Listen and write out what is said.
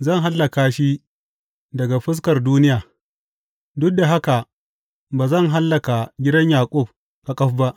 Zan hallaka shi daga fuskar duniya, duk da haka ba zan hallaka gidan Yaƙub ƙaƙaf ba,